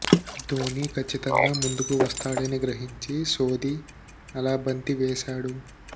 ధోని కచ్చితంగా ముందుకు వస్తాడని గ్రహించి సోధి అలా బంతి వేశాడు